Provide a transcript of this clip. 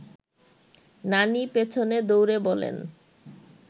নানি পেছনে দৌড়ে বলেন